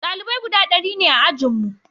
dalibai guda dari ne a ajinmu